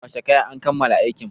Kwashe kayan! an kammala aikin.